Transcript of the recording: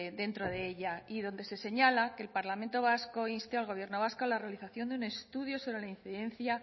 dentro de ella y donde se señala que el parlamento vasco inste al gobierno vasco a la realización de un estudio sobre la incidencia